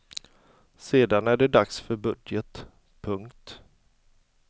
Sedan är det dags för budget. punkt